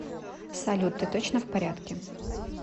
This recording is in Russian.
салют ты точно в порядке